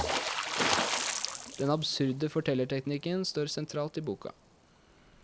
Den absurde fortellerteknikken står sentralt i boka.